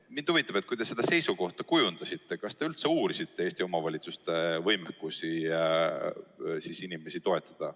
Mind huvitab, et kui te seda seisukohta kujundasite, siis kas te üldse uurisite Eesti omavalitsuste võimekust inimesi toetada.